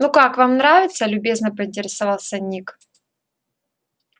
ну как вам нравится любезно поинтересовался ник